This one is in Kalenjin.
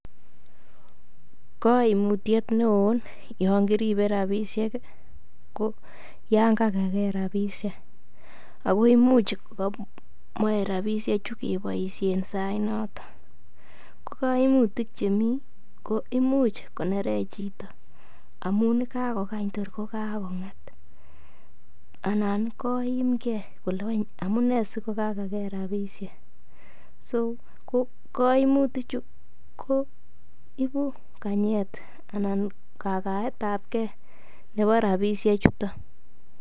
Kaimutyet neo yon kiribe rabisiek ko anan kogage rabisiek ako Imuch komoe rabisiechu keboisien sainaton ko koimutik Che mi ko Imuch konerech chito amun kagokany tor kagonget anan koimge kole wany amune si kogage rabisiek so ko kaimutichu ko ibu kagaet ab ge nebo rabisiek chuton